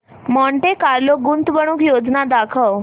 Monte Carlo गुंतवणूक योजना दाखव